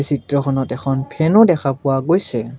চিত্ৰখনত এখন ফেন ও দেখা পোৱা গৈছে।